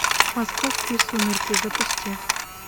московские сумерки запусти